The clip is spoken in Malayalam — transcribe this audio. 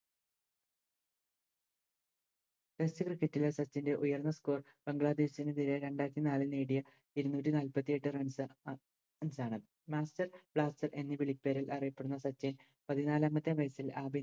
Test cricket ലെ സച്ചിൻറെ ഉയർന്ന Score ബംഗ്ലാദേശിനെതിരെ രണ്ടായിരത്തി നാലിൽ നേടിയ ഇരുന്നൂറ്റിനാൽപ്പത്തിയെട്ട് Runs ആ ആണ് Master blaster എന്ന വിളിപ്പേരിൽ അറിയപ്പെടുന്ന സച്ചിൻ പതിനാലാമത്തെ വയസ്സിൽ ആദ